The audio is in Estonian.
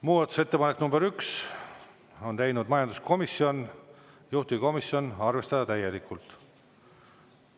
Muudatusettepanek nr 1, on teinud majanduskomisjon, juhtivkomisjon: arvestada täielikult.